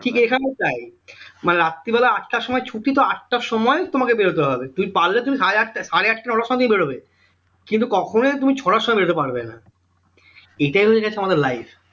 ঠিক এখানেও তাই মানে রাত্রি বেলা আটটার সময় ছুটি তো আটটার সময় তোমাকে বেরোতে হবে পারলে তুমি সাড়ে আটটা সাড়ে আটটা ওই রকম সময় বেরোবে কিন্তু কখনই তুমি ছটার সময় বেরোতে পারবে না এটাই হয়ে গেছে আমাদের life